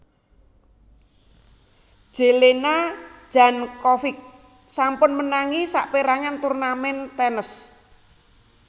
Jelena Jankovic sampun menangi sapérangan turnamèn tenis